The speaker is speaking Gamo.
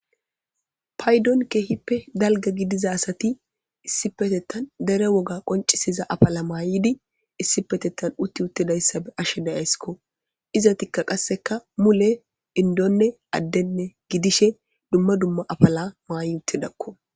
paydon keehippe dalga gidiza asati issi petettan dere woga qoncisiza afala maayidi issipetettan utti uttidayssa be ashe dayayskko izatikka qasseka mule indonne addenne gidishe dumma dumma afala maayi uttidakko